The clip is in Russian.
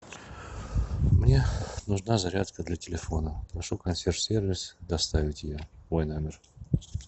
мне нужна зарядка для телефона прошу консьерж сервис доставить ее в мой номер